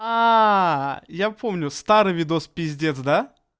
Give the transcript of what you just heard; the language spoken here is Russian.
ааа я помню старый видос пиздец да